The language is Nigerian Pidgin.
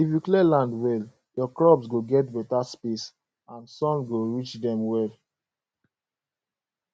if you clear land well your crops go get better space and sun go reach dem well